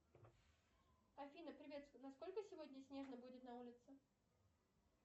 афина привет насколько сегодня снежно будет на улице